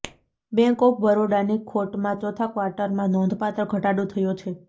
bank of બરોડાની ખોટમાં ચોથા ક્વાર્ટરમાં નોંધપાત્ર ઘટાડો થયો છે